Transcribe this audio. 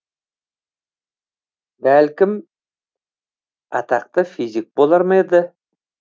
бәлкім атақты физик болар ма еді